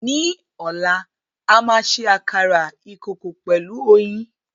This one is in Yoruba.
Ní ọ̀la a máa ṣe àkàrà ìkòkò pẹ̀lú oyin.